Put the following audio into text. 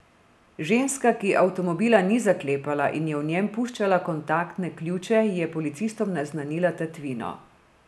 Ženska, ki avtomobila ni zaklepala in je v njem puščala kontaktne ključe, je policistom naznanila tatvino.